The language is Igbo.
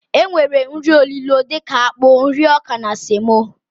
E nwere nri olilo dika akpụ, nri ọkà na semo.